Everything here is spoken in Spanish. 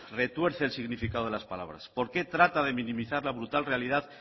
retuerce el significado de las palabras por qué trata de minimizar la brutal realidad